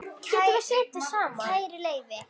Kæri Leifi,